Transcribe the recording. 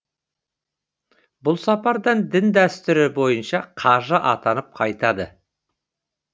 бұл сапардан дін дәстүрі бойынша қажы атанып қайтады